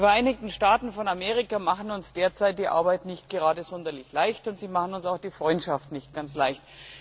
Die Vereinigten Staaten von Amerika machen uns derzeit die Arbeit nicht gerade sonderlich leicht, und sie machen uns auch die Freundschaft nicht ganz leicht.